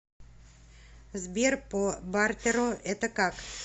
сбер по бартеру это как